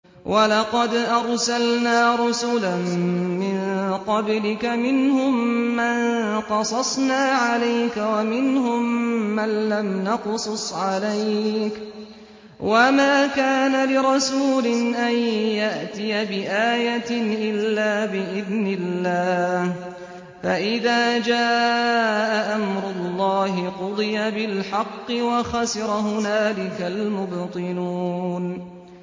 وَلَقَدْ أَرْسَلْنَا رُسُلًا مِّن قَبْلِكَ مِنْهُم مَّن قَصَصْنَا عَلَيْكَ وَمِنْهُم مَّن لَّمْ نَقْصُصْ عَلَيْكَ ۗ وَمَا كَانَ لِرَسُولٍ أَن يَأْتِيَ بِآيَةٍ إِلَّا بِإِذْنِ اللَّهِ ۚ فَإِذَا جَاءَ أَمْرُ اللَّهِ قُضِيَ بِالْحَقِّ وَخَسِرَ هُنَالِكَ الْمُبْطِلُونَ